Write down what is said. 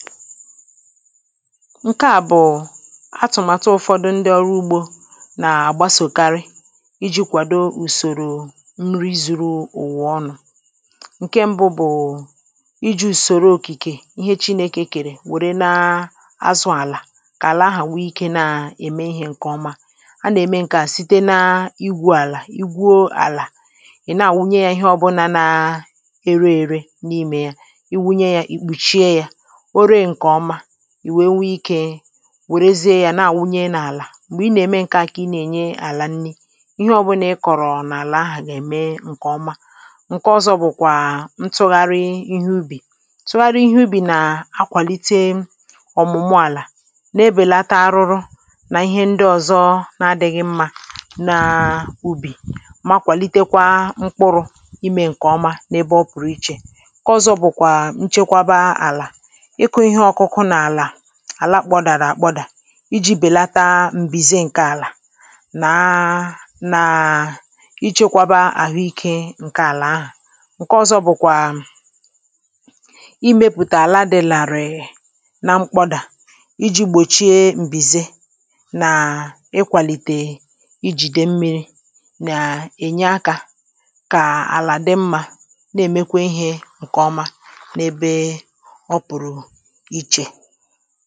ǹke à bụ̀ atụ̀màtụ ụ̀fọdụ ndị ọrụ ugbȯ na-àgbasòkarị iji̇ kwàdo ùsòrò nri zuru ùwò ọnụ̇ ǹke mbu bụ̀ iji̇ ùsòrò òkìkè ihe chi na ekèkèrè wère na azụ àlà kà àlà ahà nwee ike na ème ihė ǹkè ọma a nà-ème ǹke a site na igwu̇ àlà igwuȯ àlà ị̀ naà wunye ya ihe ọbụlà na ere ère n’imė ya i wunye ya ìkpùchie ya ọre nke ọma, ì wèe nwee ikė wèrèzie ya na-àwunye n’àlà m̀gbè ị nà-ème ǹke à kà ị na-ènye àlà nni ihe ọ̀bụnà ị kọ̀rọ̀ n’àlà ahụ̀ nà-ème ǹkè ọma ǹke ọzọ bụ̀kwà ntụgharị ihe ubì tụgharị ihe ubì nà-akwàlite ọ̀mụ̀mụ àlà na-ebèlata arụrụ nà ihe ndị ọ̀zọ na-adịghị mmȧ na ubì ma kwàlitekwa mkpụrụ imė ǹkè ọma n’ebe ọ pụ̀rụ̀ ichè ǹkẹ̀ ọzọ bụ̀kwà nchekwaba àlà, ịkụ ịhe ọkụku àlà àla kpọdàrà àkpọdà iji̇ bèlata m̀bìze ǹke àlà naa nàà na-ichekwaba àhụ ikė ǹke àlà ahà ǹke ọzọ bụ̀kwàà imėpùtà àla dị̀ làrị̀ị̀ na mkpọdà iji̇ gbòchie m̀bìze nà ịkwàlìtè ijìdè mmi̇ri nà-ènye akȧ kà àlà dị mmȧ na-èmekwa ihė ǹkè ọma n’ebe ọpụrụ ịche.